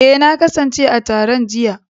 Eh, na kasance a taron jiya.